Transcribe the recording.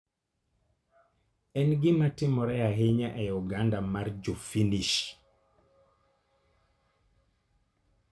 En gima timore ahinya e oganda mar Jo Finnish.